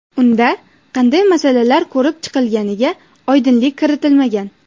Unda qanday masalalar ko‘rib chiqilganiga oydinlik kiritilmagan.